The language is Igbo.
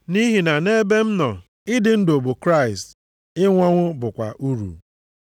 Nʼihi na nʼebe m nọ, ịdị ndụ bụ Kraịst, ịnwụ ọnwụ bụkwa uru.